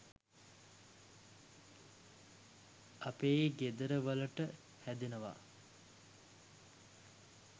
අපේ ගෙදර වලට හැදෙනව